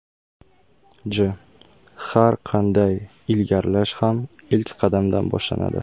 J: Har qanday ilgarilash ham ilk qadamdan boshlanadi.